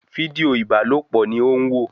Fídíò ìbálòpọ̀ ni ó ń wò